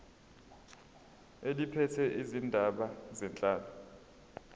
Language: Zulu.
eliphethe izindaba zenhlalo